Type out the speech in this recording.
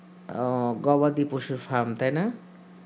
ও গবাদি পশুর fam তাই না